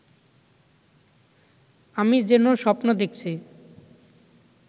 আমি যেন স্বপ্ন দেখছি